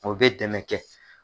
O bɛ dɛmɛ kɛ.